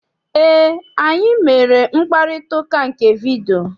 Eé, anyị mere mkparịtaụka nke vidiyio.